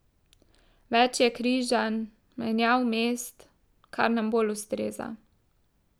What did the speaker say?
Več je križanj, menjav mest, kar nam bolj ustreza.